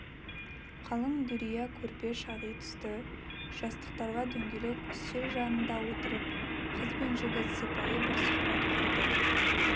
қалың дүрия көрпе шағи тысты жастықтарға дөңгелек үстел жанында отырып қыз бен жігіт сыпайы бір сұхбат құрды